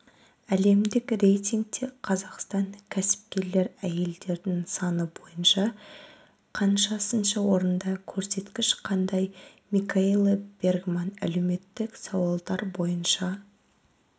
әлемдік рейтингте қазақстан кәсіпкер әйелдердің саны бойынша қаншасыншы орында көрсеткіш қандай микаэла бергман әлеуметтік сауалдар бойынша